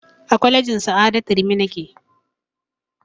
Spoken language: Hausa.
A kwalejin sa'adatu rimi nake